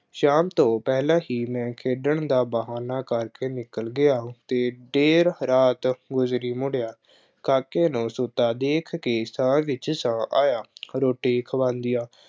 ਸ਼ਾਮ ਤੋਂ ਪਹਿਲਾਂ ਹੀ ਮੈਂ ਖੇਡਣ ਦਾ ਬਹਾਨਾ ਕਰਕੇ ਨਿਕਲ ਗਿਆ ਅਤੇ ਦੇਰ ਰਾਤ ਗੁਜ਼ਰੇ ਮੁੜਿਆ। ਕਾਕੇ ਨੂੰ ਸੁੱਤਾ ਦੇਖ ਕੇ ਸਾਹ ਵਿੱਚ ਸਾਹ ਆਇਆ। ਰੋਟੀ ਖਵਾਂਉਂਦਿਆਂ